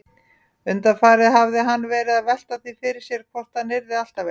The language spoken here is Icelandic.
Undanfarið hafði hann verið að velta því fyrir sér hvort hann yrði alltaf einn.